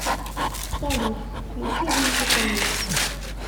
салют включи винтика лиф